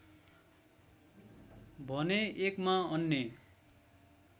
भने एकमा अन्य